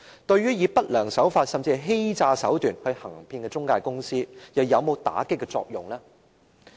對於以不良手法，甚至是以欺詐手段行騙的中介公司而言，這規定又有否打擊作用呢？